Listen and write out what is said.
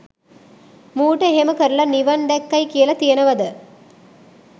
මූට එහෙම කරලා නිවන් දැක්කයි කියල තියෙනවද?